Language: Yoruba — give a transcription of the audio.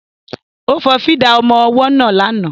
Ó fọ fídà ọmọ ọwọ́ náà lánàá